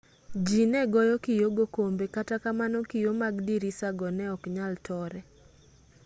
ji ne goyo kio go kombe kata kamano kio mag dirisago ne ok nyal tore